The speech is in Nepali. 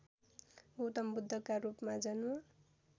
गौतमबुद्धका रूपमा जन्म